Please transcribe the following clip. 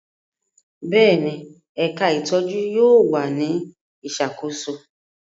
Bẹ́ẹ̀ni, ẹka itọju yóò wa ni isakoso